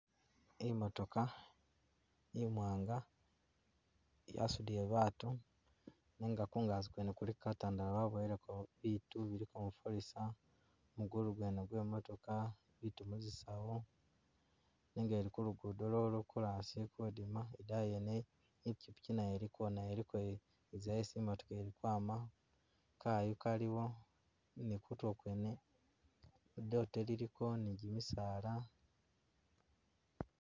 Imotoka, imwanga yasudile baatu nenga kungazi kwene kuliko katandala baboyeleko biitu bilikako mufalisa, mugulu gwene gemwe imotokha, biitu muzisawo nenga ili kulukudo lwo korasi ili kudima idaayi yene ipiki nayo ilko nayo iliko iza esi imotoka yamakwama kayu kaliwo ni kutulo kwene lidote liliko ne gimisaala.